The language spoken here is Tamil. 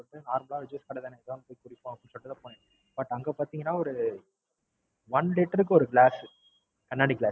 எதோ Normal ஆ ஒரு Juice கட தானேன்னு குடிப்போம்னு போனேன். But அங்க பார்த்தீங்கன்னா ஒரு One liter க்கு ஒரு Glass கண்ணாடி Glass